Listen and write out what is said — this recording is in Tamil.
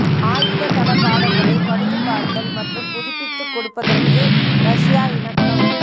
ஆயுத தளபாடங்களை பழுது பார்த்தல் மற்றும் புதுப்பித்துக் கொடுப்பதற்கு ரஷ்யா இணக்கம்